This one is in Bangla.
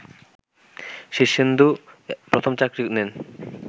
শীর্ষেন্দু প্রথম চাকরি নেন